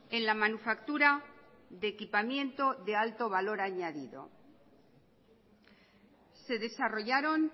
en la manufactura de equipamiento de alto valor añadido se desarrollaron